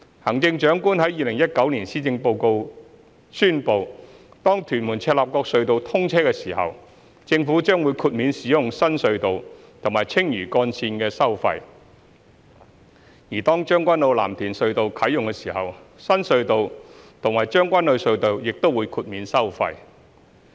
行政長官在2019年施政報告中宣布，當屯門―赤鱲角隧道通車時，政府將會豁免使用新隧道和青嶼幹線的收費；而當將軍澳―藍田隧道啟用時，新隧道和將軍澳隧道亦會豁免收費。